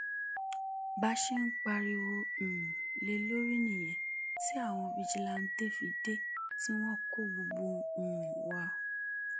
bá a ṣe pariwo um lé e lórí nìyẹn tí àwọn fijilantànté fi dé tí wọn kó gbogbo um wa